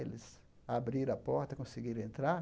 Eles abriram a porta, conseguiram entrar.